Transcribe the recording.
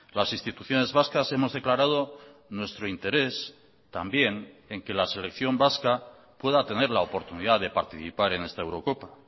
las instituciones vascas hemos declarado nuestro interés también en que la selección vasca pueda tener la oportunidad de participar en esta eurocopa